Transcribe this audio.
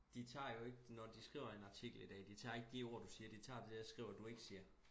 de tager jo ikke når de skriver en artikel i dag de tager ikke de ord du siger de tager det og skriver du ikke siger